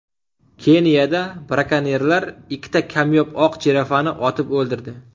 Keniyada brakonyerlar ikkita kamyob oq jirafani otib o‘ldirdi.